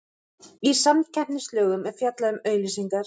Í samkeppnislögum er fjallað um auglýsingar.